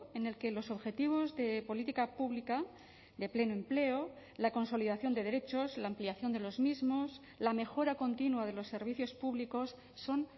en el que los objetivos de política pública de pleno empleo la consolidación de derechos la ampliación de los mismos la mejora continua de los servicios públicos son